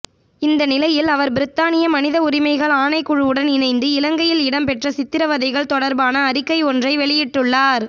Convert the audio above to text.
இந்த நிலையில் அவர் பிரித்தானிய மனித உரிமைகள் ஆணைக்குழுவுடன் இணைந்து இலங்கையில் இடம்பெற்ற சித்திரவதைகள் தொடர்பான அறிக்கை ஒன்றை வெளியிட்டுள்ளார்